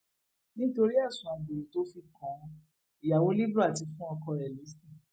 nítorí ẹsùn àgbèrè tó fi kan ìyàwó libre ti fún ọkọ rẹ lésì